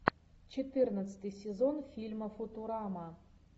четырнадцатый сезон фильма футурама